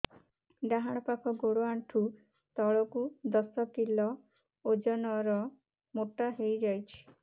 ଡାହାଣ ପାଖ ଗୋଡ଼ ଆଣ୍ଠୁ ତଳକୁ ଦଶ କିଲ ଓଜନ ର ମୋଟା ହେଇଯାଇଛି